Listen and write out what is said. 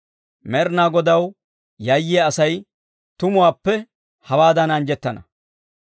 Med'inaa Godaw yayyiyaa asay tumuwaappe hewaadan anjjettana.